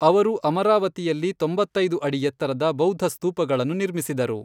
ಅವರು ಅಮರಾವತಿಯಲ್ಲಿ ತೊಂಬತ್ತೈದು ಅಡಿ ಎತ್ತರದ ಬೌದ್ಧ ಸ್ತೂಪಗಳನ್ನು ನಿರ್ಮಿಸಿದರು.